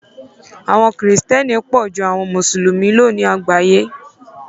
Àwọn kìrìtẹ̀ẹ́nì pọ̀ ju àwọn Mùsùlùmí lọ ní àgbáyé.